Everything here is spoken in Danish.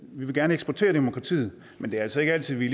vil gerne eksportere demokratiet men det er altså ikke altid at vi